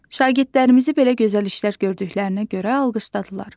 Şagirdlərimizi belə gözəl işlər gördüklərinə görə alqışladılar.